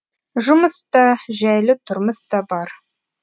жұмыс та жәйлі тұрмыс та бар